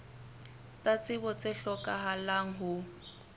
tsa tsebo tse hlokahalang ho